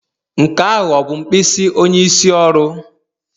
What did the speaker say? Nke ahụ ọ bụ mkpịsị onyeisi oru?